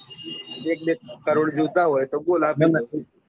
એક બે કરોડ જોઈતા હોય તો બોલ આપી દઉં.